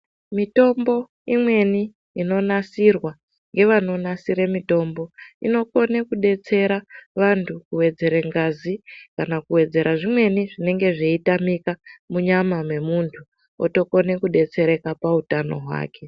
Mitombo imweni inonasirwa yevanonasira mitombo, inokone kudetsera vantu kuwedzere ngazi kana kuwedzera zvimweni zvinenge zveyitamika munyama memuntu otokone kudetsereka pahutano hwake.